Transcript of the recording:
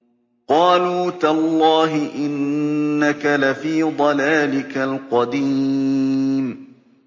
قَالُوا تَاللَّهِ إِنَّكَ لَفِي ضَلَالِكَ الْقَدِيمِ